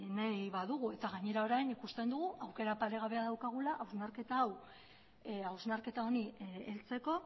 nahi badugu eta gainera orain ikusten dugu aukera paregabea daukagula hausnarketa honi heltzeko